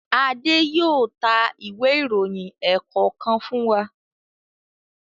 Ade yóò tá Ìwé ìròyìn ẹ̀ẹ̀kọ̀kan fún wá.